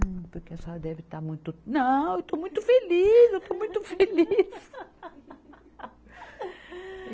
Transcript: Porque a senhora deve estar muito. Não, eu estou muito feliz, eu estou muito feliz.